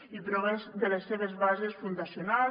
i prové de les seves bases fundacionals